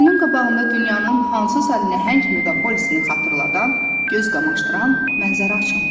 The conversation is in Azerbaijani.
Gözünün qabağında dünyanın hansısa nəhəng meqapolisini xatırladan, göz qamaşdıran mənzərə açılmışdı.